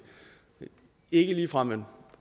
er ikke ligefrem et